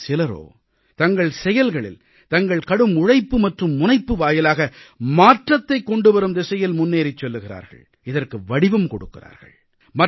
ஆனால் சிலரோ தங்கள் செயல்களில் தங்கள் கடும் உழைப்பு மற்றும் முனைப்பு வாயிலாக மாற்றத்தைக் கொண்டுவரும் திசையில் முன்னேறிச் செல்கிறார்கள் இதற்கு வடிவம் கொடுக்கிறார்கள்